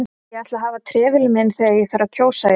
Ég ætla að hafa trefilinn minn þegar ég fer að kjósa í vor